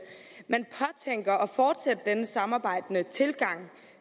fortsætte denne samarbejdende tilgang